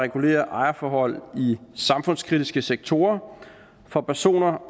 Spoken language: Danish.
regulere ejerforhold i samfundskritiske sektorer for personer